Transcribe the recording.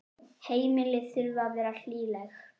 Heimili þurfa að vera hlýleg.